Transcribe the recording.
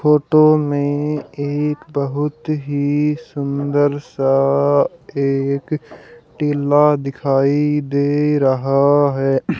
Photo में एक बहुत ही सुंदर सा एक टीला दिखाई दे रहा है।